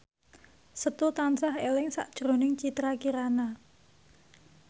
Setu tansah eling sakjroning Citra Kirana